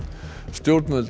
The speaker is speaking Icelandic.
stjórnvöld